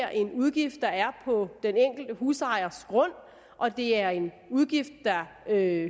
er en udgift der er på den enkelte husejers grund og det er en udgift der hører